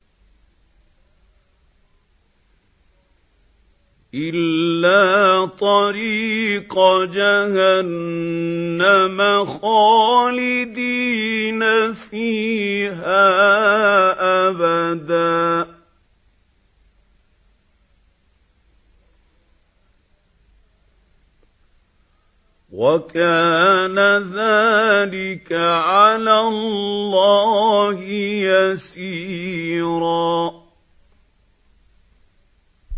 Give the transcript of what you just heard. إِلَّا طَرِيقَ جَهَنَّمَ خَالِدِينَ فِيهَا أَبَدًا ۚ وَكَانَ ذَٰلِكَ عَلَى اللَّهِ يَسِيرًا